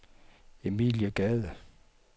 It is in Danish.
Emilie Gade